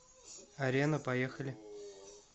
арена поехали